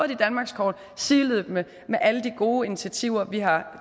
de danmarkskort sideløbende med alle de gode initiativer vi har